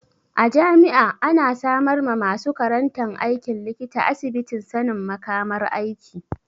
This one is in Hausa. A jami'a ana samar ma masu karantan aikin likita asibitin sanin makamar aiki.